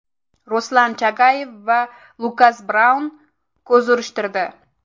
Ruslan Chagayev va Lukas Braun ko‘z urishtirdi.